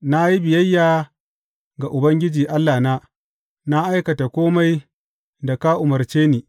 Na yi biyayya ga Ubangiji Allahna, na aikata kome da ka umarce ni.